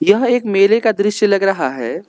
यह एक मेले का दृश्य लग रहा है।